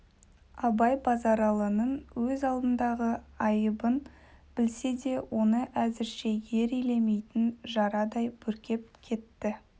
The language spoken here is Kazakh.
абай базаралының өз алдындағы айыбын білсе де оны әзірше ер елемейтін жарадай бүркеп кетті